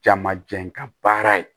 Jamajɛ ka baara ye